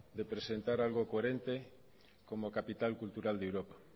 de presentar algo coherente como capital cultural de europa